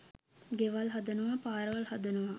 ගෙවල් හදනවා පාරවල් හදනවා